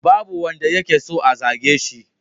Babu wanda yake so a zage shi.